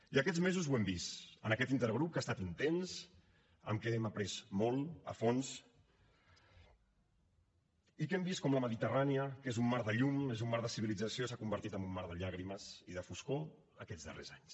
i aquests mesos ho hem vist en aquest intergrup que ha estat intens en què hem après molt a fons i que hem vist com la mediterrània que és un mar de llum és un mar de civilització s’ha convertit en un mar de llàgrimes i de foscor aquests darrers anys